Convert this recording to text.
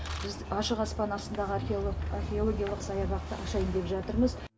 біз ашық аспан астаныдағы археологиялық саябақты ашайын деп жатырмыз